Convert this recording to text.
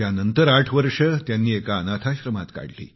नंतर आठ वर्षे एका अनाथाश्रमात काढली